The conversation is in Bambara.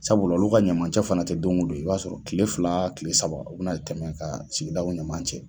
Sabula olu ka ɲamacɛ fana tɛ don o don ye i b'a sɔrɔ kile fila kile saba u bɛna tɛmɛ ka sigidaw ɲama cɛ.